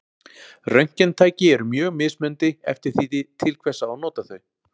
Röntgentæki eru mjög mismunandi eftir því til hvers á að nota þau.